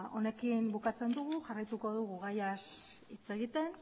honekin bukatzen dugu jarraituko dugu gaiaz hitz egiten